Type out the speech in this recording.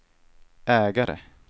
ägare